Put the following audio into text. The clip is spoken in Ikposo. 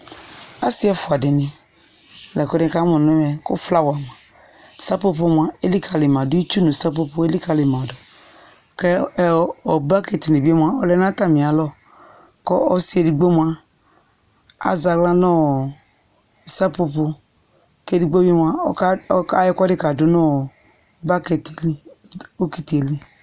Asɩ ɛfʋadɩnɩ la kʋ nɩka mʋ n'ɛmɛ : kʋ flawa sapopo mʋa elikǝlɩ ma dʋ , itsu nʋ sapopo elikǝli ma dʋ ;kɛ ɛ ɔ bokitidɩ bɩ mʋa ɔlɛ nʋ atamɩ alɔ Kɔ ɔsɩ edigbo mʋa , azɛ aɣla n'ɔɔ sapopo , k'edigbo bɩ mʋa, ɔka ɔka ayɔ ɛkʋɛdɩ k'adʋ nʋ bakɛtɩ li bokiti li